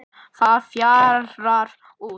Það fjarar út.